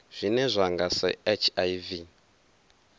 zwine zwa nga sa hiv